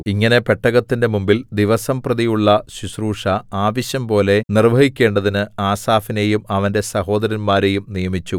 ഇങ്ങനെ പെട്ടകത്തിന്റെ മുമ്പിൽ ദിവസംപ്രതിയുള്ള ശുശ്രൂഷ ആവശ്യംപോലെ നിർവ്വഹിക്കേണ്ടതിന് ആസാഫിനെയും അവന്റെ സഹോദരന്മാരെയും നിയമിച്ചു